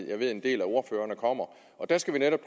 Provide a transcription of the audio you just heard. jeg ved at en del af ordførerne kommer og der skal vi netop